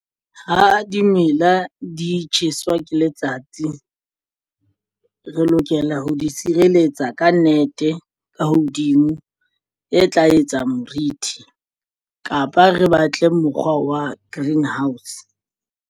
Ha dimela di tjheswa ke letsatsi re lokela ho di sireletsa ka nnete ka hodimo e tla etsang morithi kapa re batle mokgwa wa greenhouse.